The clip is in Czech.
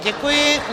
Děkuji.